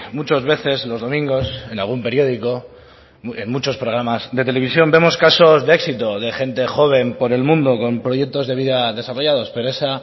muchas veces los domingos en algún periódico en muchos programas de televisión vemos casos de éxito de gente joven por el mundo con proyectos de vida desarrollados pero esa